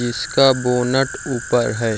इसका बोनट ऊपर है।